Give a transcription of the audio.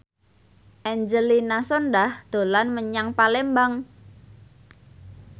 Angelina Sondakh dolan menyang Palembang